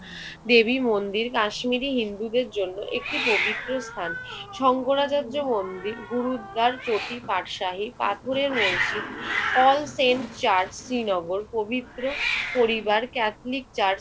দেবী মন্দির কাশ্মীরি হিন্দুদের জন্য একটি পবিত্র স্থান। শংকরাচার্য মন্দির, গুরুদ্বার চটি, পাঠশাহী পাথরের মসজিদ, অল সেইন্ট চার্চ, শ্রীনগর পবিত্র পরিবার ক্যাথলিক চার্চ